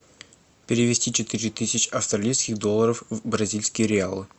перевести четыре тысячи австралийских долларов в бразильские реалы